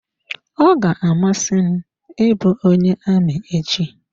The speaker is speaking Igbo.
Ọ ga-amasị m ị bụ onye amị echi.